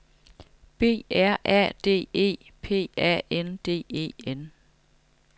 B R A D E P A N D E N